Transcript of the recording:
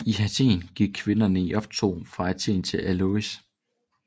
I Athen gik kvinderne i optog fra Athen til Eleusis